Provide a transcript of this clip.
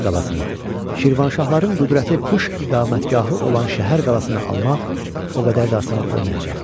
Baki qalasını, Şirvanşahların qüdrətli qış iqamətgahı olan şəhər qalasını almaq o qədər də asan olmayacaqdı.